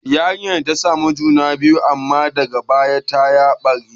Yarinyar ta samu juna biyu, amma daga baya ta ya ɓare.